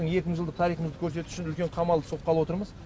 екі мың жылдық тарихымызды көрсету үшін үлкен қамал соққалы отырмыз